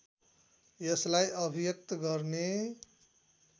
यसलाई अभिव्यक्त गर्ने